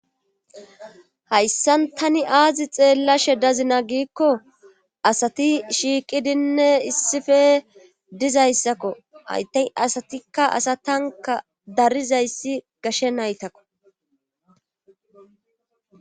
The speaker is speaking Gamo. Hayssan tani aazi xeellashe dazina gikko asati shiiqidinne issife dizayssakko hayta asatikka asatanka darizayssi gashe naytakko.